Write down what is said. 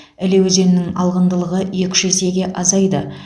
іле өзенінің алғындылығы екі үш есеге азайды